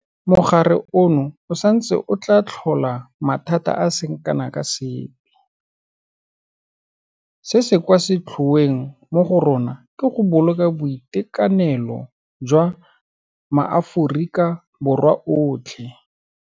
Mogare ono o santse o tla tlhola mathata a a seng kana ka sepe, se se kwa setlhoeng mo go rona ke go boloka boitekanelo jwa maAforika Borwa otlhe.